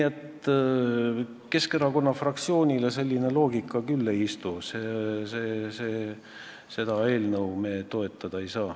Keskerakonna fraktsioonile selline loogika ei istu, seda eelnõu me toetada ei saa.